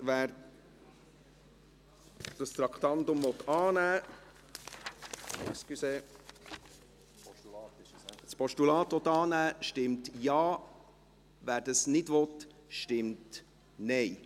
Wer dieses Traktandum – Entschuldigung: das Postulat – annehmen will, stimmt Ja, wer dies nicht will, stimmt Nein.